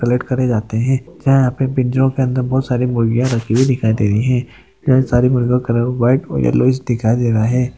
Collect करे जाते है यहाँ अपने पिंजो मे बहुत सारी मुर्गीया रखी हुई दिखाई दे रही है यहाँ सारे मुर्गीयो का कलर व्हाइट और येल्लो दिखाई दे रहा है।